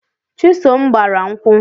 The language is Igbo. Chisom gbara nkwu